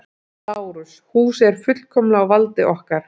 LÁRUS: Húsið er fullkomlega á valdi okkar.